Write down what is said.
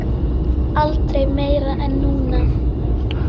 Aldrei meira en núna.